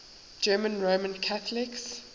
german roman catholics